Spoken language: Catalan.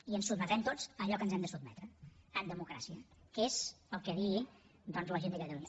i ens sotmetrem tots a allò a què ens hem de sotmetre en democràcia que és el que digui la gent de catalunya